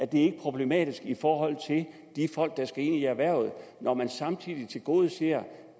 det ikke problematisk i forhold til de folk der skal ind i erhvervet når man samtidig tilgodeser